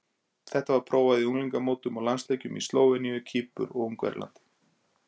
Þetta var prófað í unglingamótum og landsleikjum í Slóveníu, Kýpur og Ungverjalandi.